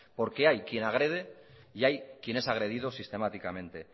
porque hay quien agrede y hay quien es agredido sistemáticamente